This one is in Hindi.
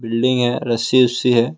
बिल्डिंग है रस्सी वस्सी है।